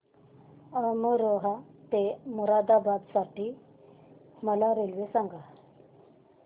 अमरोहा ते मुरादाबाद साठी मला रेल्वे सांगा